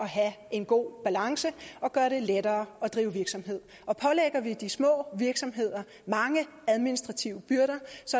have en god balance og gøre det lettere at drive virksomhed og pålægger vi de små virksomheder mange administrative byrder